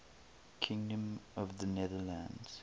kingdom of the netherlands